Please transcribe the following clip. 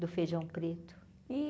Do feijão preto.